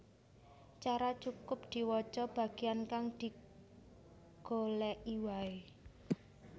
Cara cukup diwaca bagian kang digoleki waé